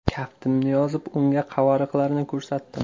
Kaftimni yozib unga qavariqlarni ko‘rsatdim.